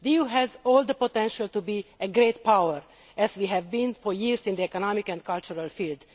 The EU has all the potential to be a great power, as we have been for years in the economic and cultural field.